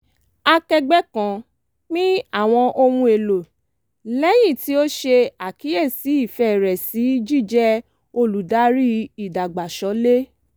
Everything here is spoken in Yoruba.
akẹgbẹ́ kan pín àwọn ohun èlò lẹ́yìn tí ó ṣe àkíyèsi ìfẹ́ rẹ̀ sí jíjẹ́ olùdarí ìdàgbàsólè